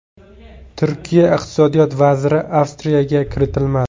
Turkiya iqtisodiyot vaziri Avstriyaga kiritilmadi.